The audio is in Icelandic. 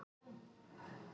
Þá átti að reka mig.